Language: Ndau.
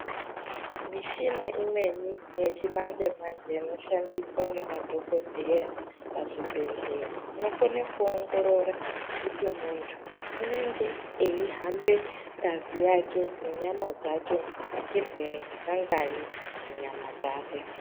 Mishina imweni yechimanje manje inoshandiswa ngemadhokodheya kuzvibhedhlera inokone kuongorora kuti munhu unenge eihambe ngazi yake nenyama dzake nechirwere chakanganyi munyama dzake.